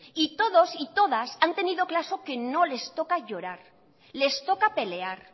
y todos y todas han tenido claro que no les toca llorar les toca pelear